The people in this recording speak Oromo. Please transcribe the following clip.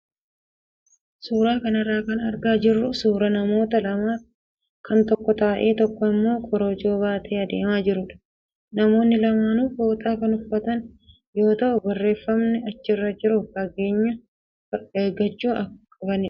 Suuraa kanarraa kan argaa jirru suuraa namoota lamaa kan tokko taa'ee tokko immoo korojoo baatee adeemaa jirudha. Namoonni lamaanuu fooxaa kan uffatan yoo ta'u, barreefamni achirra jiru fageenya eeggachuu akka qabanidha.